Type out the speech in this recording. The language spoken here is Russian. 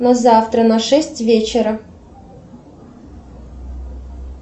на завтра на шесть вечера